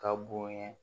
Ka bonɲɛ